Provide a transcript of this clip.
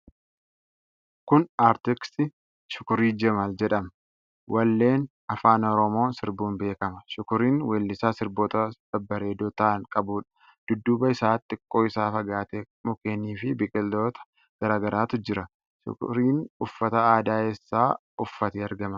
Kun artist Shukrii Jamaal jedhama. Walleewwan Afaan Oromoo sirbuun beekama. Shukriin weellisaa sirboota babbaareedoo ta'an qabuudha. Dudduuba isaa xiqqoo irraa fagaatee mukkeeni fi biqiloota garaa garaatu jira. Shukriin uffata aadaa eessaa uffatee argama?